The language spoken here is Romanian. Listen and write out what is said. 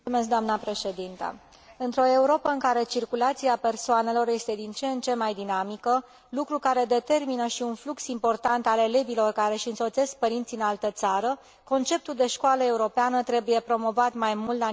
Într o Europă în care circulația persoanelor este din ce în ce mai dinamică, lucru care determină și un flux important al elevilor care își însoțesc părinții în altă țară, conceptul de școală europeană trebuie promovat mai mult la nivelul statelor membre.